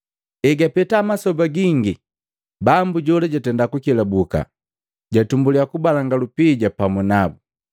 “Egapeta masoba gingi bambu jola jatenda kukelabuka, jatumbuliya kubalanga lupija pamu nabu.